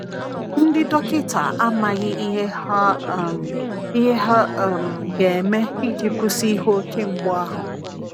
Ndi dọkita amaghị ihe ha um ihe ha um ga - eme iji kwụsị ihe oke mgbụ ahụ.